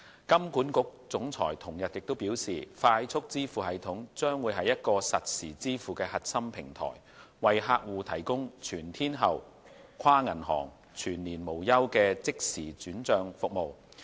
金管局總裁同日表示，快速支付系統將是一個實時支付的核心平台，為客戶提供全天候、跨銀行、全年無休的即時轉帳服務。